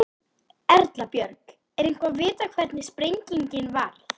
Erla Björg: Er eitthvað vitað hvernig sprengingin varð?